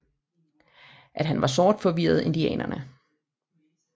At han var sort forvirrede indianerne